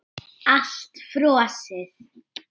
Allt frosið.